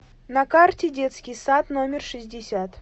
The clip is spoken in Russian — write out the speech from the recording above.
на карте детский сад номер шестьдесят